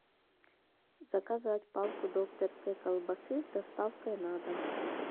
заказать палку докторской колбасы с доставкой на дом